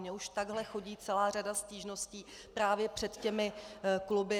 Mně už takhle chodí celá řada stížností právě před těmi kluby.